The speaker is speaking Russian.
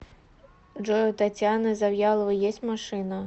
джой у татьяны завьяловой есть машина